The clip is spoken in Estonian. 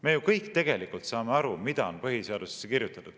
Me ju kõik saame tegelikult aru, mida on põhiseadusesse kirjutatud.